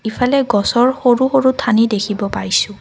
ইফালে গছৰ সৰু সৰু ঠানি দেখিব পাইছোঁ।